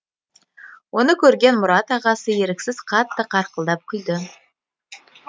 оны көрген мұрат ағасы еріксіз қатты қарқылдап күлді